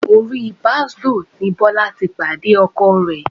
Orí Bàsdóò ni Bọ́lá ti pàdé Ọkọ ẹ̀.